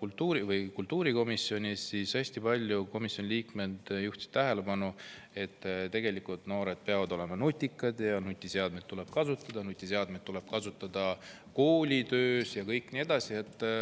kultuurikomisjonis arutasime, siis hästi paljud komisjoni liikmed juhtisid tähelepanu, et tegelikult peavad noored olema nutikad, nutiseadmeid tuleb kasutada ka koolitöös ja nii edasi.